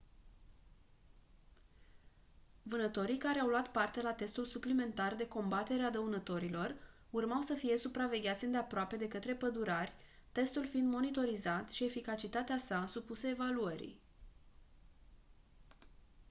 vânătorii care au luat parte la testul suplimentar de combatere a dăunătorilor urmau să fie supravegheați îndeaproape de către pădurari testul fiind monitorizat și eficacitatea sa supusă evaluării